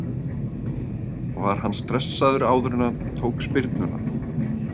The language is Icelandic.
Var hann stressaður áður en hann tók spyrnuna?